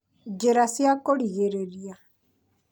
njĩra cia kũrigĩrĩrĩria